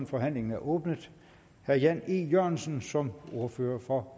forhandlingen er åbnet herre jan e jørgensen som ordfører for